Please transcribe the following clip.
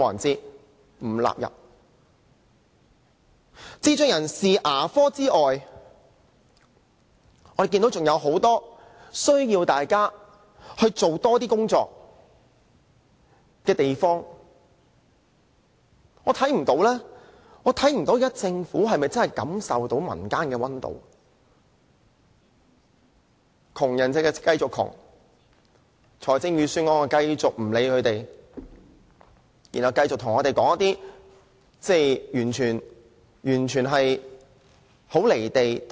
除了智障人士的牙科服務外，還有很多地方需要政府多做工作，但我不知道政府是否真的感受不到民間的溫度，窮人繼續貧窮，政府在預算案中則繼續對問題置之不理，繼續對我們說一些很"離地"的說話。